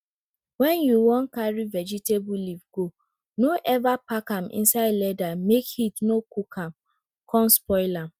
wen you wan carry vegetable leaf go no ever pack am inside leather make heat no cook am con spoil am